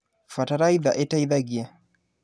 Bataraitha ĩteithagia.